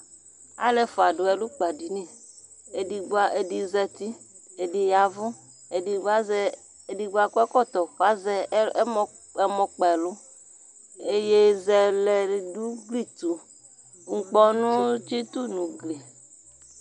Alʋ ɛfua dʋ ɛlʋkpadini, edigbo a, edi zati, ɛdi yavʋ, edigbo azɛ, edigbo akɔ ɛkɔtɔ k'azɛ ɛmɔ kp'ɛlʋ Iyeye zɛlɛ d'ʋgli tʋ, n'kpɔnʋ tsitʋ n'ʋgli